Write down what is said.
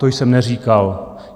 To jsem neříkal.